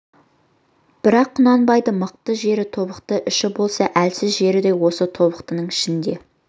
бірақ құнанбайдың мықты жері тобықты іші болса әлсіз жері де осы тобықтының ішінде